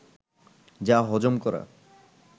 যা হজম করা